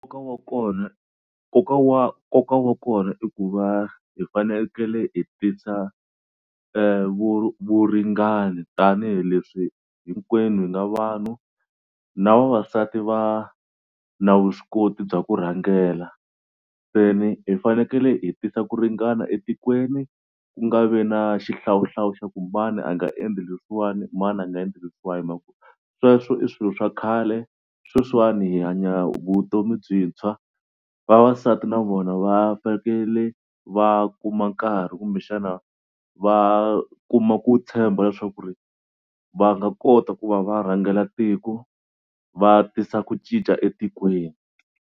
Nkoka wa kona nkoka wa nkoka wa kona i ku va hi fanekele i tisa vu vuringani tanihileswi hinkwenu hi nga vanhu na vavasati va na vuswikoti bya ku rhangela. Se ni hi fanekele hi tisa ku ringana etikweni ku nga vi na xihlawuhlawu xa ku mani a nga endli leswiwani mani a nga endli leswiwani. Sweswo i swilo swa khale sweswiwani hi hanya vutomi byintshwa vavasati na vona va fanekele va kuma nkarhi kumbexana va kuma ku tshemba leswaku ri va nga kota ku va va rhangela tiko va tisa ku cinca etikweni.